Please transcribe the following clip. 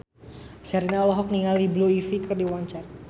Sherina olohok ningali Blue Ivy keur diwawancara